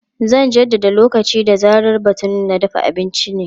Zan jaddada lokaci da zarar batun na dafa abinci ne.